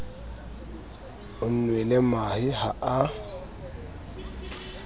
o nwele mahe ha a